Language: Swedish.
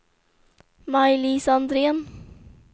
Maj-Lis Andrén